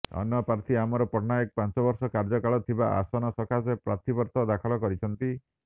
ଅନ୍ୟ ପ୍ରାର୍ଥୀ ଅମର ପଟ୍ଟନାୟକ ପାଞ୍ଚବର୍ଷ କାର୍ଯ୍ୟକାଳ ଥିବା ଆସନ ସକାଶେ ପ୍ରାର୍ଥୀପତ୍ର ଦାଖଲ କରିଛନ୍ତି